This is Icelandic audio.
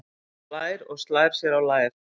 Hún hlær og slær sér á lær.